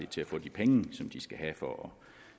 til at få de penge som de skal have for at